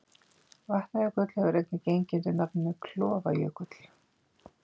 Vatnajökull hefur einnig gengið undir nafninu Klofajökull.